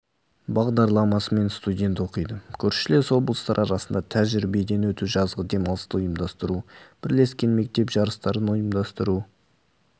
бағдарламасымен студент оқиды көршілес облыстар арасында тәжірибеден өту жазғы демалысты ұйымдастыру бірлескен мектеп жарыстарын ұйымдастыру